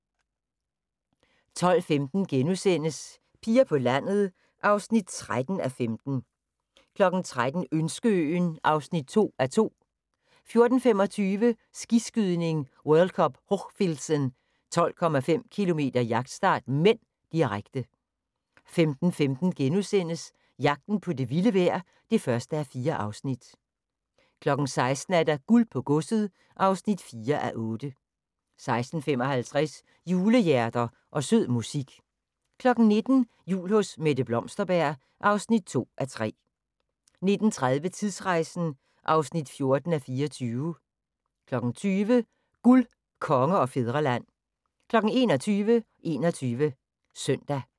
12:15: Piger på landet (13:15)* 13:00: Ønskeøen (2:2) 14:25: Skiskydning: World Cup Hochfilzen - 12,5 km jagtstart (m), direkte 15:15: Jagten på det vilde vejr (1:4)* 16:00: Guld på godset (4:8) 16:55: Julehjerter og sød musik 19:00: Jul hos Mette Blomsterberg (2:3) 19:30: Tidsrejsen (14:24) 20:00: Guld, Konge og Fædreland 21:00: 21 Søndag